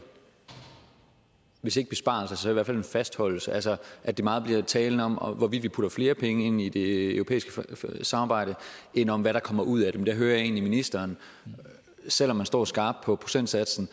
hvis ikke besparelser så i hvert fald en fastholdelse altså at det meget bliver talen om hvorvidt vi putter flere penge ind i det europæiske samarbejde end om hvad der kommer ud af det men der hører jeg egentlig ministeren selv om han står skarpt på procentsatsen